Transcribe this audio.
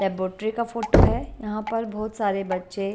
Laboratory का photo है यहां पर बहुत सारे बच्चे।